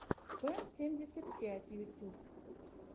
пэн семьдесят пять ютьюб